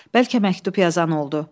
Bəlkə məktub yazan oldu.